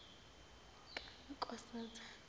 kankosazana